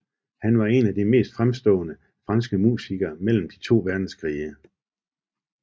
Han var en af de mest fremstående franske musikere mellem de to verdenskrige